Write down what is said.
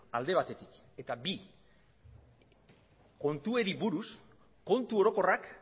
alde batetik eta bi kontuei buruz kontu orokorrak